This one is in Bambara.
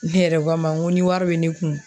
Ne yɛrɛ ko a ma n ko ni wari bɛ ne kun